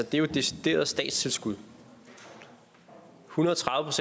det er jo decideret statstilskud en hundrede og tredive